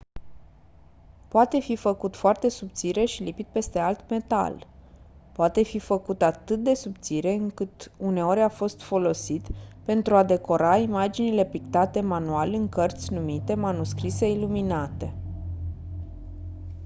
poate fi făcut foarte subțire și lipit peste alt metal poate fi făcut atât de subțire încât uneori a fost folosit pentru a decora imaginile pictate manual în cărți numite manuscrise iluminate